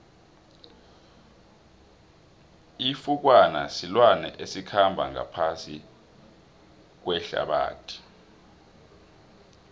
ifukwana silwane esikhamba ngaphasi kuehlabathi